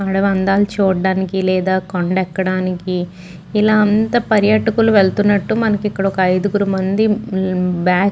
అడివి అందాలు చూడడానికి లేదా కొండ ఎక్కడానికి ఇలా అంతా పర్యాటకులు వెళ్తున్నట్టు మనకి ఇక్కడ ఒక అయిదుగురు మంది ఉమ్ బాగ్ --